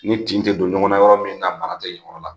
Ni tin tɛ don ɲɔgɔn na yɔrɔ min na baara tɛ o yɔrɔ la